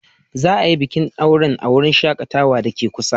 Za a yi bikin auren a wurin shakatawa da ke kusa.